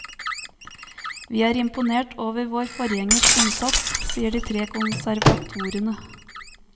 Vi er imponert over våre forgjengers innsats, sier de tre konservatorene.